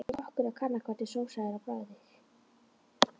Eins og kokkur að kanna hvernig sósa er á bragðið.